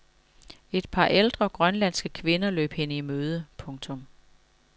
Et par ældre grønlandske kvinder løb hende i møde. punktum